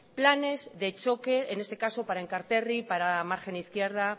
planes de choque en este caso para enkarterri para la margen izquierda